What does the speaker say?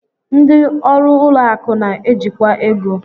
Ndị ọrụ ụlọ akụ na-ejikwa ego